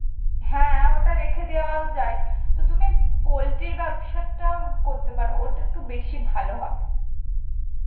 হ্যাঁ ওটা রেখে দেয়াও যায়, তো তুমি poultry এর ব্যবসাটা করতে পারো, ওটা একটু বেশি ভালো হবে